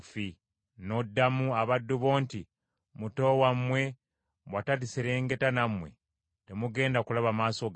N’oddamu abaddu bo nti, ‘Muto wammwe bw’ataliserengeta nammwe, temugenda kulaba maaso gange.’